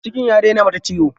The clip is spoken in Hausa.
Cikin ya daina mata ciwo.